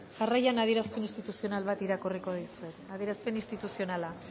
jarraian adierazpen instituzional bat irakurriko dizuet adierazpen instituzionala